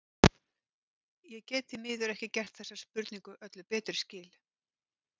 Ég get því miður ekki gert þessari spurningu öllu betri skil.